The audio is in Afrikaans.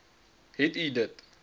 het u dit